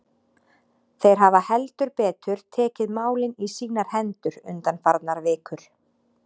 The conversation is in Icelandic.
Þeir hafa heldur betur tekið málin í sínar hendur undanfarnar vikur.